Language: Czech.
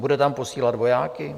Bude tam posílat vojáky?